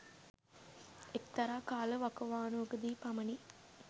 එක්තරා කාල වකවානුවකදි පමණි.